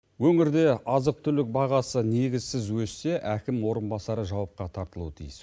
өңірде азық түлік бағасы негізсіз өссе әкім орынбасары жауапқа тартылуы тиіс